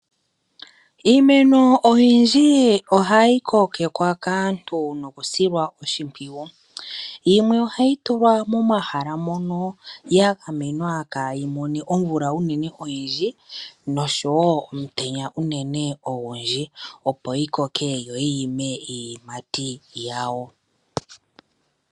Iimeno oyindji ohayi kokekwa kaantu nokusilwa oshipwiyu. Yimwe ohayi tulwa momahala mono ya gamwena kaayi mone omvula unene oyindji nosho wo omutenya unene ogundji, opo yi koke yo yi ime iiyimati yawo.